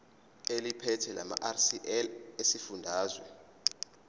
eliphethe lamarcl esifundazwe